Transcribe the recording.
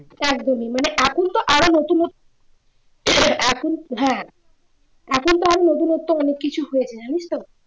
একদমই মানে এখনতো আরো নতুন নতুন এখন হ্যাঁ এখন তো আরো নতুনত্ব অনেক কিছু হয়েছে জানিস্ তো